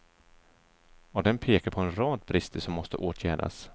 Och den pekar på en rad brister som måste åtgärdas.